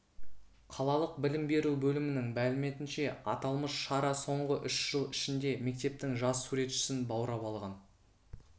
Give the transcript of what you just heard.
қалалық білім беру бөлімінің мәліметінше аталмыш шара соңғы үш жыл ішінде мектептің жас суретшісін баурап алған